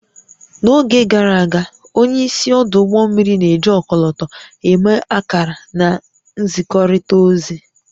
N'oge gara aga, onye isi ọdụ ụgbọ mmiri na-eji ọkọlọtọ eme akara na nzikọrịta ozi